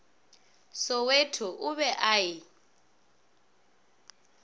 soweto o be a e